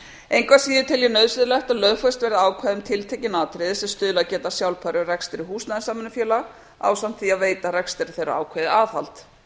engu að síður tel ég nauðsynlegt að lögfest verði ákveðin tiltekin atriði sem stuðlað geta að sjálfbærum rekstri húsnæðissamvinnufélaga ásamt því að veita rekstri þeirra ákveðið aðhald